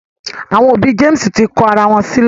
Àwọn òbí James tí kò àrà wón sílè.